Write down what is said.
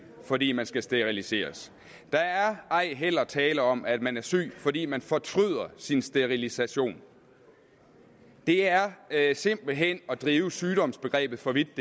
fordi man skal steriliseres der er ej heller tale om at man er syg fordi man fortryder sin sterilisation det er er simpelt hen at drive sygdomsbegrebet for vidt